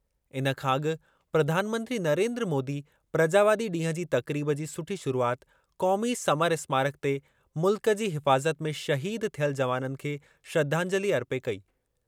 इन खां अॻु प्रधानमंत्री नरेन्द्र मोदी प्रजावादी ॾींहुं जी तक़रीब जी सुठी शुरूआति क़ौमी समर स्मारक ते मुल्क जी हिफ़ाज़त में शहीद थियल जवाननि खे श्रधांजलि अर्पे कई।